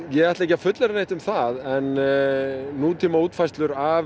ég ætla ekki að fullyrða neitt um það en nútíma útfærslur af